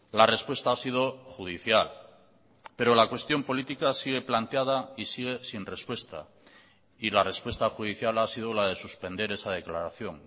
la respuesta ha sido judicial pero la cuestión política sigue planteada y sigue sin respuesta y la respuesta judicial ha sido la de suspender esa declaración